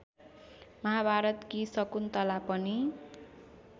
महाभारतकी शकुन्तला पनि